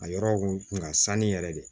A yɔrɔ kun ka sanni yɛrɛ de ye